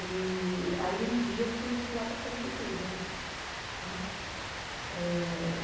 E aí um dia eu fui lá para Carapicuíba. Né. Eh